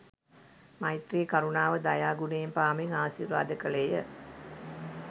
මෛත්‍රී, කරුණාව, දයා, ගුණයන් පාමින් ආශිර්වාද කළේ ය.